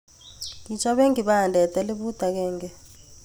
Kichoben kibadet elibut agenge.